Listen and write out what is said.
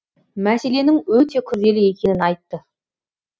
мәселенің өте күрделі екенін айтты